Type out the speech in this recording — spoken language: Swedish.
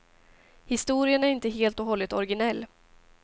Historien är inte helt och hållet originell.